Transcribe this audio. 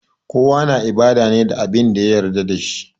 Kowa yana ibada ne da Abin da ya yarda da shi